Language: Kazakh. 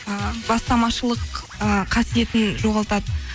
ы бастамашылық ы қасиетін жоғалтады